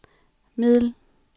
middel